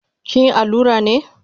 Kinyi allura ne?